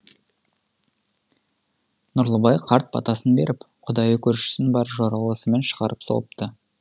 нұрлыбай қарт батасын беріп құдайы көршісін бар жоралғысымен шығарып салыпты